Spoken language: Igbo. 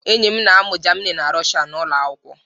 Enyi m na-amụ Germini na Russia n'ụlọ akwụkwọ